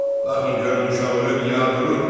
Baxın görün uşaq ölüb ya durur?